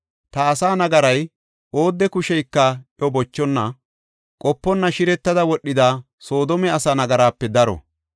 Ta asaa nagaray, oodde kusheyka iyo bochonna, qoponna shiretidi wodhida Soodome asa nagarape daro.